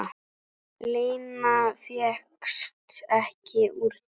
Lena fékkst ekki úr því.